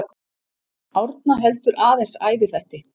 Árna heldur aðeins æviþætti.